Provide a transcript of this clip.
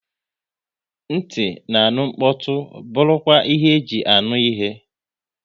Nti na-aṅụ mkpọtụ bụrụ kwa ihe e ji anụ ihe